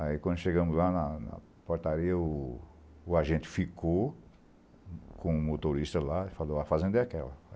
Aí quando chegamos lá na na portaria, o agente ficou com o motorista lá e falou, a fazenda é aquela.